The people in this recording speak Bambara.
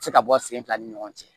Se ka bɔ sen fila ni ɲɔgɔn cɛ